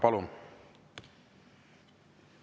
Palun!